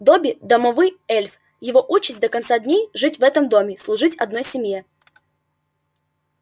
добби домовый эльф его участь до конца дней жить в одном доме служить одной семье